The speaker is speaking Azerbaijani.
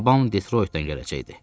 Babam Detroytdan gələcəkdi.